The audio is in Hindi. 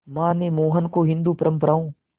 मां ने मोहन को हिंदू परंपराओं